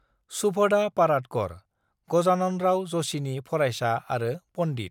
"शुभदा पराडकर, गजाननराव ज'शिनि फरायसा आरो पन्डित"।